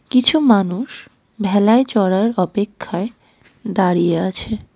কিছু মানুষ ভেলায় চড়ার অপেক্ষায় দাঁড়িয়ে আছে.